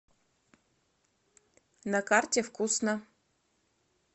на карте вкусно